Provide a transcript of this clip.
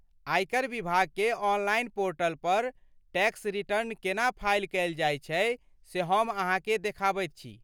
आयकर विभागके online portal पर टैक्स रिटर्न केना फाइल कयल जाइत छै से हम अहाँकेँ देखाबैत छी।